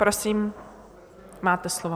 Prosím, máte slovo.